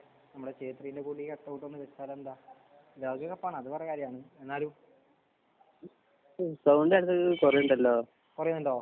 നമ്മുടെ ശേത്രിന്റെ പുതിയ കട്ട്‌ ഔട്ട്‌ ഒക്കെ ഒന്ന് വെച്ചാൽ എന്താ? ലോക കപ്പാണ് അത് പറയാല്ലോ എന്നാലും കുറവുണ്ടോ?